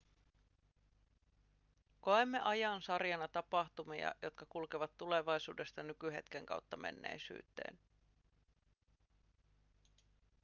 koemme ajan sarjana tapahtumia jotka kulkevat tulevaisuudesta nykyhetken kautta menneisyyteen